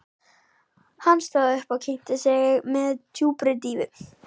Hann stóð upp og kynnti sig með djúpri dýfu.